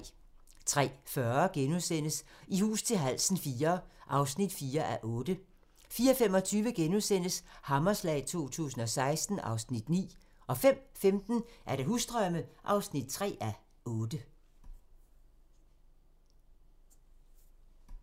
03:40: I hus til halsen IV (4:8)* 04:25: Hammerslag 2016 (Afs. 9)* 05:15: Husdrømme (3:8)